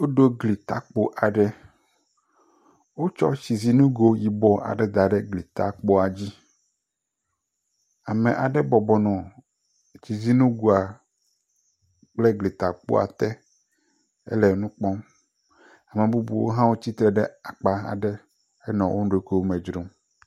Woɖo gli takpo aɖe. Wotsɔ tsizinugo aɖe da ɖe gli takpoa dzi. Ame aɖe bɔbɔ nɔ tsizinugoe kple gli takpoa te hele nu kpɔm. Ame bubuwo hã tsi tre ɖe akpa aɖe henɔ woɖokuiwo me dzrom.